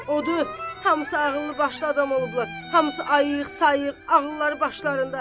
Odu, hamısı ağıllı-başlı adam olublar, hamısı ayıq, sayıq, ağılları başlarında.